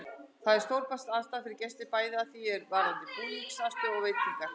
Þar er stórbætt aðstaða fyrir gesti, bæði að því er varðar búningsaðstöðu og veitingar.